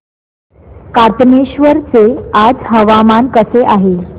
कातनेश्वर चे आज हवामान कसे आहे